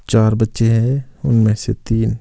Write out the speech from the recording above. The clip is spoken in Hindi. चार बच्चे हैं उनमें से तीन--